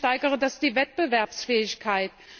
Angeblich steigere das die Wettbewerbsfähigkeit.